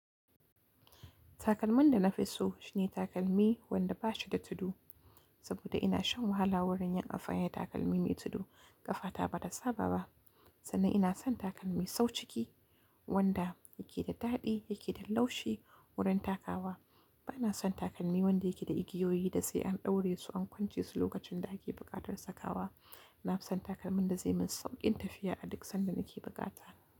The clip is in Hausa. Takalmin da na fi so shine takalmi wanda ba shi da tudu, saboda ina shan wahala wurin yin afani da takalmi mai tudu ƙafa ta ba ta saba ba. Sanan ina son takalmi sau ciki wanda yake da daɗi, yake da laushi wurin takawa. Ba na son takalmi wanda yake da igiyoyi da sai an ɗaure su, an kwance su lokacin daake buƙatar sakawa. Na fi son takalmin da zai min sauƙin tafiya a duk sanda nake bukata.